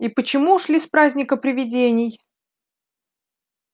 и почему ушли с праздника привидений